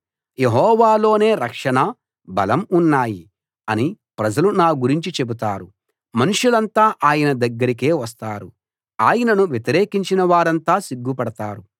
యెహోవాలోనే రక్షణ బలం ఉన్నాయి అని ప్రజలు నా గురించి చెబుతారు మనుషులంతా ఆయన దగ్గరకే వస్తారు ఆయనను వ్యతిరేకించిన వారంతా సిగ్గుపడతారు